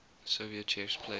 soviet chess players